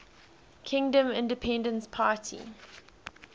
kingdom independence party